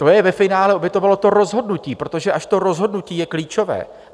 To je ve finále obětovalo to rozhodnutí, protože až to rozhodnutí je klíčové.